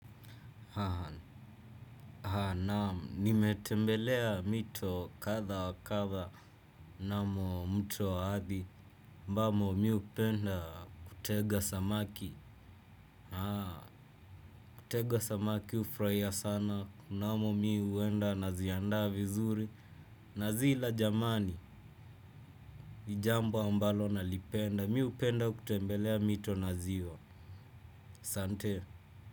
Naam, nimetembelea mito kadha wa kadha na mtu wa adhi ambamo mimi hupenda kutega samaki, kutega samaki hufurahia sana mnamo mimi huenda naziandaa vizuri. Nazila jamani, ni jambo ambalo nalipenda. Mimi hupenda kutembelea mito na ziwa asante.